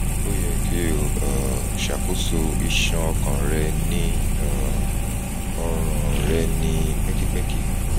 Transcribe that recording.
o yẹ ki o um ṣakoso iṣan ọkàn rẹ ni um ọran rẹ ni pẹkipẹki